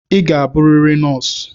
Ị ga-abụrịrị nọọsụ!